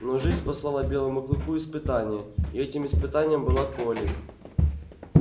но жизнь послала белому клыку испытание и этим испытанием была колли